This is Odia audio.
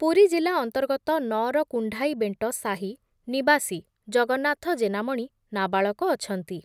ପୁରୀ ଜିଲ୍ଲା ଅନ୍ତର୍ଗତ ନଅର କୁଣ୍ଢାଇବେଣ୍ଟ ସାହି ନିବାସୀ ଜଗନ୍ନାଥ ଜେନାମଣି ନାବାଳକ ଅଛନ୍ତି ।